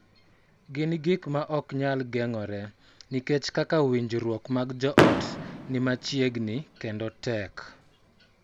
Gin gik ma ok nyal geng�ore nikech kaka winjruok mag joot ni machiegni kendo tek.